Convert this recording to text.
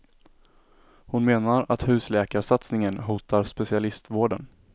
Hon menar att husläkarsatsningen hotar specialistvården.